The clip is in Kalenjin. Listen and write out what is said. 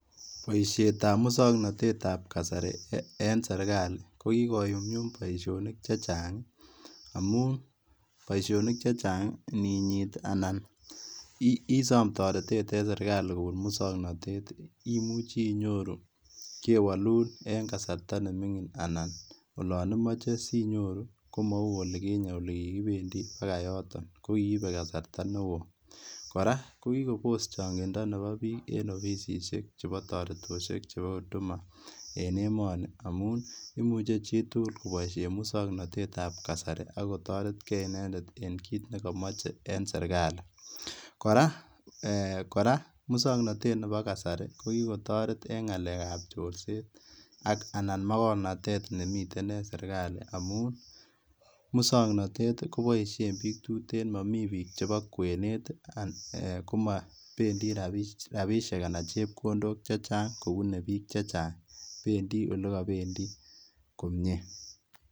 Boishetab muswoknotetab kasari en serikali kokii konyumnyum boishonik chechang, amuun boishonik chechang ininyiit anan isom toretet en serikali kobun muswoknotet imuuchi inyoru kewolun en kasarta neming'in anan olon imoche sinyoru komou olikinye olikikibendi bakaa yoton kokiibe kasarta newoo, kora kokinyokobos chong'indo neboo biik en ofisishek chebo toretoshek chebo huduma en emoni amun imuche chitukul koboishen muswoknotetab kasari akotoretkee inendet en kiit nekomoche en serikali, kora muswoknotetab neboo kasari kokikotoret en ng'alekab chorset ak anan makornatet nemiten en serikali amun muswoknotet koboishen biik tuteen momii biik cheboo kwenet eeh komobendi rabishek anan chepkondok chechang kouu, bendii olekobendii komnyee.